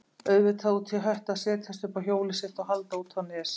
Auðvitað út í hött að setjast upp á hjólið sitt og halda út á Nes.